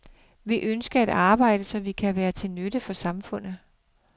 Vi ønsker at arbejde, så vi kan være til nytte for samfundet.